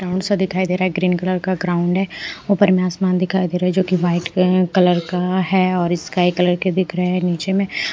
ground सा दिखाई दे रहा है ग्रीन कलर का ग्राउंड है ऊपर में आसमान दिखाई दे रहा है जो कि वाइट अ कलर का है और स्काई कलर के दिख रहे हैं नीचे में --